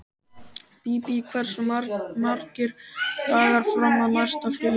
Bíbí, hversu margir dagar fram að næsta fríi?